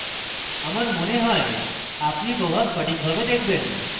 আমার মনে হয় আপনি প্রভাব সঠিকভাবে দেখবেন